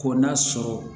Ko n'a sɔrɔ